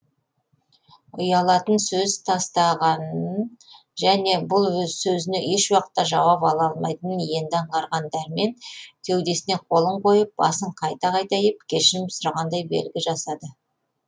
үялатын сөз тастағанын және бұл сөзіне ешуақытта жауап ала алмайтынын енді аңғарған дәрмен кеудесіне қолын қойып басын қайта қайта иіп кешірім сұрағандай белгі жасады